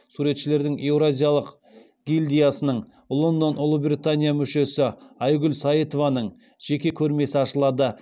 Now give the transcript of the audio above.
суретшілердің еуразиялық гильдиясының мүшесі айгүл саитованың жеке көрмесі ашылады